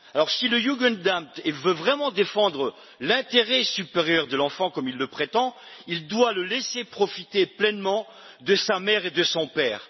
Si le Jugendamt veut vraiment défendre l'intérêt supérieur de l'enfant, comme il le prétend, il doit le laisser profiter pleinement de sa mère et de son père.